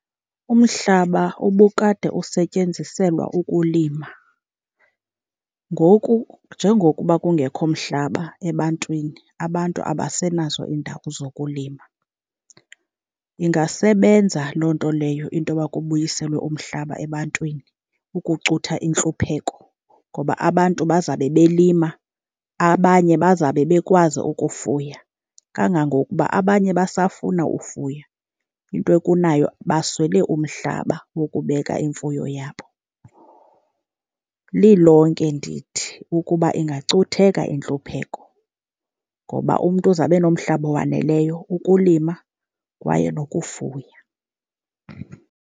Umhlaba ubukade usetyenziselwa ukulima, ngoku njengokuba kungekho mhlaba ebantwini abantu abasenazo iindawo zokulima. Ingasebenza loo nto leyo into yoba kubuyiselwe umhlaba ebantwini ukucutha intlupheko, ngoba abantu bazabe belima, abanye bazabe bekwazi ukufuya. Kangangokuba abanye basafuna ufuya intwekunayo baswele umhlaba wokubeka imfuyo yabo. Lilonke ndithi ukuba ingacutheka intlupheko, ngoba umntu uzabe enomhlaba owaneleyo ukulima kwaye nokufuya.